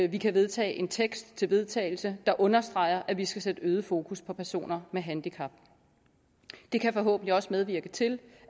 vi kan vedtage en tekst til vedtagelse der understreger at vi skal sætte øget fokus på personer med handicap det kan forhåbentlig også medvirke til